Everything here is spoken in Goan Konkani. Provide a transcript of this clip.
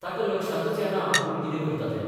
ताका लक्षांतच येना आपूण कितें करतां तें.